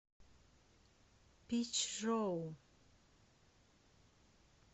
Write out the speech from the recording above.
пичжоу